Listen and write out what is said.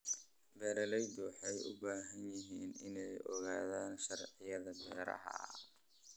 Beeraleydu waxay u baahan yihiin inay ogaadaan sharciyada beeraha.